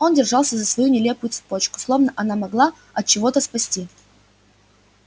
он держался за свою нелепую цепочку словно она могла от чего-то спасти